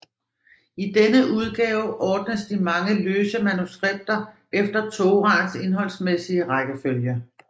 I denne udgave ordnes de mange løse manuskripter efter Toraens indholdsmæssige rækkefølge